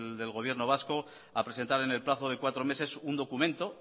del gobierno vasco a presentar en el plazo de cuatro meses un documento